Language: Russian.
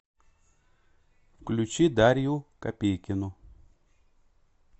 включи дарью копейкину